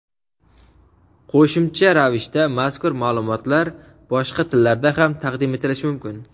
Qo‘shimcha ravishda mazkur maʼlumotlar boshqa tillarda ham taqdim etilishi mumkin.